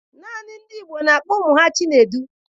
Naanị ndị Igbo na-akpọ ụmụ ha Chinedu